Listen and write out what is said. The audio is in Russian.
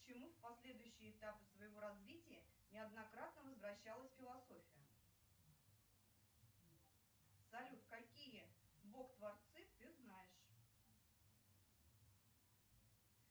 к чему в последующие этапы своего развития неоднократно возвращалась философия салют какие бог творцы ты знаешь